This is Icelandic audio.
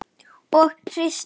Og kyngt.